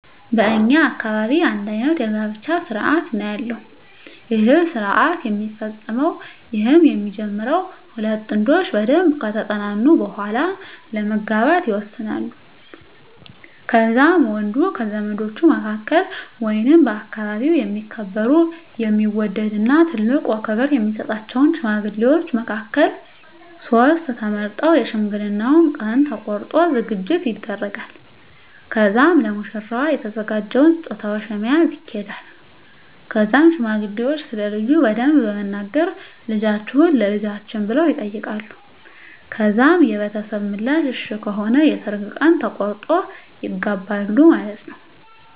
በእኛ አካባቢ አንድ አይነት የጋብቻ ስርአት ነው ያለው ይህ ስረሰአት የሚፈፀመዉ ይህም የሚጀመረው ሁለት ጥንዶች በደንብ ከተጠናኑ በሁዋላ ለመጋባት ይወሰናሉ ከዛም ወንዱ ከዘመዶቹ መካከል ወይንም በአከባቢው የሚከበሩ የሚወደድ እና ትልቆ ክብር የሚሰጣቸውን ሽማግሌዎች መካከልቨ ሶስት ተመርጠው የሽምግልናውን ቀን ተቆርጦ ዝግጅት ይደረጋል ከዛም ለሙሽራዋ የተዘጋጀውን ስጦታዎች በመያዝ ይኪዳል ከዛም ሽማግሌዎች ስለልጁ በደንብ በመናገር ልጃቹህን ለልጃችን ብለው ይጠይቃሉ ከዛም የቤተሰብ ምላሽ እሽ ከሆነ የሰርግ ቀን ተቆርጦ ይጋባሉ ማለትነወ።